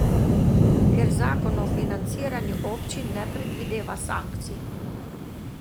Ker zakon o financiranju občin ne predvideva sankcij!